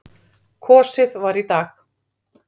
Kosið var í dag.